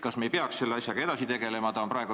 Kas me ei peaks selle asjaga edasi tegelema?